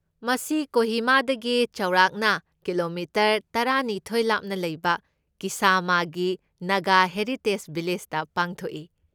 ꯃꯁꯤ ꯀꯣꯍꯤꯃꯥꯗꯒꯤ ꯆꯥꯎꯔꯥꯛꯅ ꯀꯤꯂꯣꯃꯤꯇꯔ ꯇꯔꯥꯅꯤꯊꯣꯢ ꯂꯥꯞꯅ ꯂꯩꯕ ꯀꯤꯁꯥꯃꯥꯒꯤ ꯅꯥꯒꯥ ꯍꯦꯔꯤꯇꯦꯖ ꯚꯤꯂꯦꯖꯇ ꯄꯥꯡꯊꯣꯛꯏ꯫